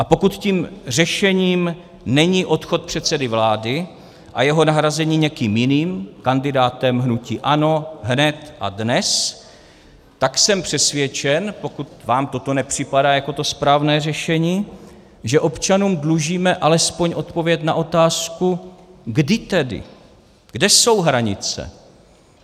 A pokud tím řešením není odchod předsedy vlády a jeho nahrazení někým jiným, kandidátem hnutí ANO, hned a dnes, tak jsem přesvědčen, pokud vám toto nepřipadá jako to správné řešení, že občanům dlužíme alespoň odpověď na otázku, kdy tedy, kde jsou hranice.